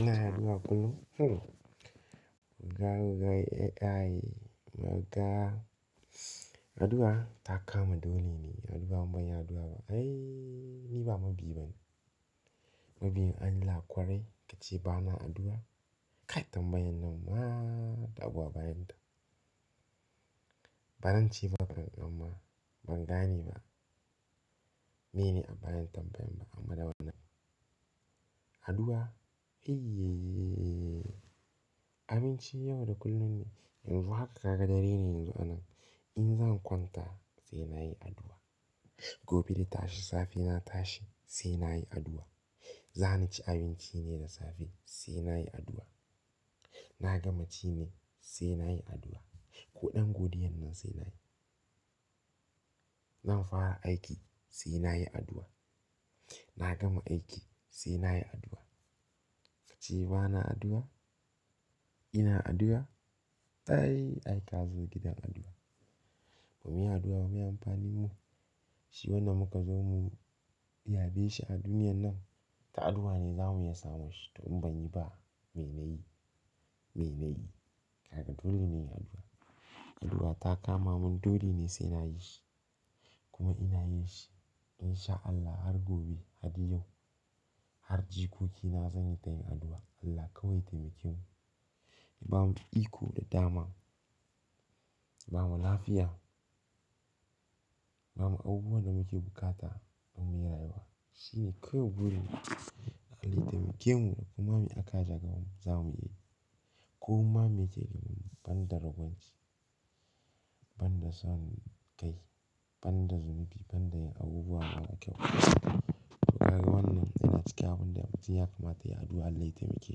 Ina yin addu'a kullum. Ga wagai, ai ai, maga. Addu'a ta kama dole ne. In bamuyi addu'a ba. Ai ni ba mabiyi ba ne. Mabiyin Allah kwara, ka ce bana addu'a. Kai tambayan nan na agwabayan ta. Ba nan ci ba ban gan ma, ban gane ba. Mene bayan tambayan ba amma da wannan. Addu'a, ayy, ayy, ayy. Abinci yau da kullum ne. Yanzu haka ka ga dare ne yanzu a nan. In zan kwanta sai na yi addu'a. Gobe da tashi safe na tashi sai na yi addu'a. Za ni ci abinci ne na safe sai na yi addu'a. Na gama ci ne sai na yi addu'a. Koɗan godiyan nan sai na yi. Zan fara aiki sai na yi addu'a. Na gama aiki sai na yi addu'a. Ka ce bana addu'a, ina addu'a. Ai ai ka zo gidan addu'a. Mu yi addu'a mu yi amfanin mu. Shi wannan muka zo mu yabe shi a duniyan nan. Ta addu'a ne za mu iya samu shi. To in ban yi ba mene ne yi? Mene ne yi? Haka dole ne yin addu'a. Addu'a ta kama mun dole ne sai na yi shi. Kuma ina yin shi. In sha Allah har gobe, har da yau, har jikoki na zan yi ta yin addu'a. Allah kawai taimake mu. Ba mu iko da dama. Ba mu lafiya. Ba mu abubuwan da muke bukata don mu yi rayuwa. Shi ne kawai gurina Allah ya taimake mu kuma mu aka jagar mu za mu yi. Ko kuma mu mita ban da ragwanci, ban da son kai, ban da zalunci, ban da abubuwa mara kyau. Wakar wannan yana cikin abunda yawanci ya kamata ya addu'a Allah ya taimake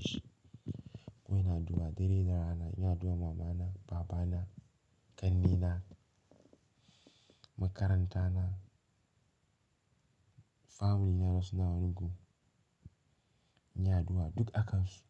shi. Ko ina addu'a dare da rana, ina addu'a mamana, babana, ƙannena, makaranta na, family na da suna wani gu. Ina addu'a duk akan su.